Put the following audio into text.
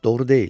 Doğru deyil.